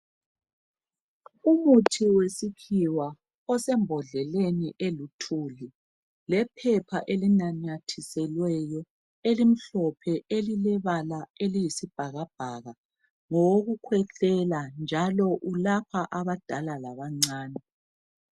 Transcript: Umuthi wesikhiwa osembhodleni eluthuli lephepha elinanyathiselweyo elimhlophe elilebala eliyisibhakabhaka, ngowokukhwehlela njalo ulapha abadala labancane